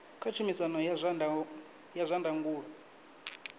kha tshumisano ya zwa ndangulo